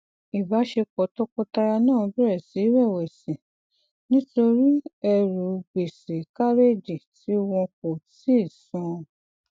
ìbáṣepọ tọkọtaya náà bẹrẹ sí í rẹwẹsì nítorí ẹrù gbèsè kárédì tí wọn kò tíì san